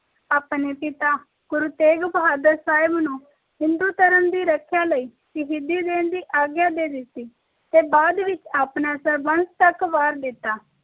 ਆਪਣੇ ਪਿਤਾ ਗੁਰੂ ਤੇਗ਼ ਬਹਾਦਰ ਸਾਹਿਬ ਨੂੰ ਹਿੰਦੂ ਧਰਮ ਦੀ ਰੱਖਿਆ ਲਾਇ ਸ਼ਹੀਦੀ ਦੇਣ ਦੀ ਆਗਯਾ ਦੇ ਦਿੱਤੀ ਤੇ ਬਾਅਦ ਵਿਚ ਆਪਣਾ ਸਰਬੰਸ ਤਕ ਵਾਰ ਦਿੱਤਾ